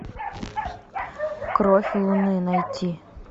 кровь луны найти